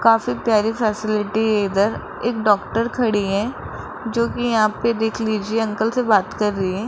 काफी प्यारी फैसिलिटी इधर एक डॉक्टर खड़ी है जो कि यहां पे देख लीजिए अंकल से बात कर रही हैं।